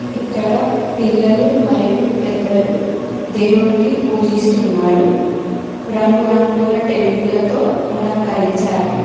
ఇక్కడ పిల్లలు మరియు పెద్దలు దేవుణ్ణి పూజిస్తున్నారు రంగుల రంగుల టెంట్లతో అలంకరించారు.